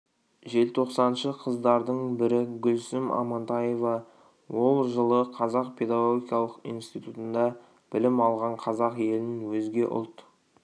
желтоқсаншы қыздардың бірі гүлсім амантаева ол жылы қазақ педагогикалық инситутында білім алған қазақ елін өзге ұлт